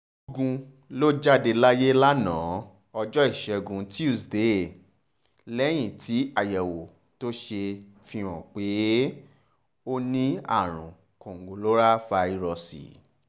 lọ́gun ló jáde láyé lánàá ọjọ́ ìṣẹ́gun túṣídéé lẹ́yìn tí àyẹ̀wò tó ṣe fi hàn pé ó ní àrùn kòǹgóláfàírọ́ọ̀sì